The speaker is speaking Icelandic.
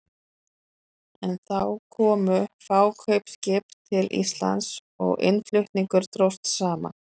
Þá komu fá kaupskip til Íslands og innflutningur dróst saman.